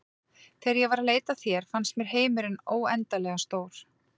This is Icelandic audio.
Þegar ég var að leita að þér fannst mér heimurinn óendanlega stór.